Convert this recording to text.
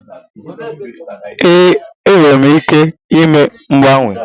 Ee, m nwere ike ime mgbanwe.